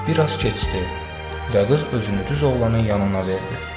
Bir az keçdi və qız özünü düz oğlanın yanına verdi.